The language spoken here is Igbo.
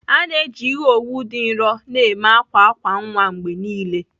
A na-eji ihe owu dị nro na-eme akwa akwa nwa mgbe niile.